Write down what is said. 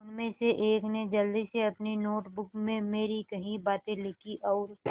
उनमें से एक ने जल्दी से अपनी नोट बुक में मेरी कही बातें लिखीं और